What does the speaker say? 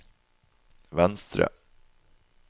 venstre